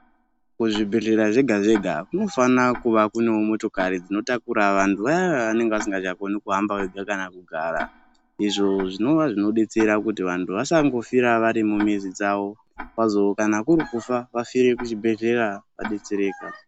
Kuzvibhedhlera zvega zvega kunofana kunge kune motokari dzinotakura vantu vaya vaya vanenge vasi vakoni kufamba vega kana kugara izvozvinova zvinodetsera kuti vantu vasangofira vari muzi dzavo vazo kana kurikufa vafire kuzvibhedhlera vadetsereka.